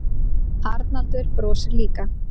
Arnaldur brosir líka.